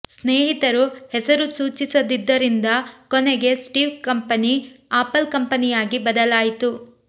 ಸ್ನೇಹಿತರು ಹೆಸರು ಸೂಚಿಸದಿದ್ದರಿಂದ ಕೊನೆಗೆ ಸ್ಟೀವ್ ಕಂಪೆನಿ ಅಪಲ್ ಕಂಪೆನಿಯಾಗಿ ಬದಲಾಯಿತು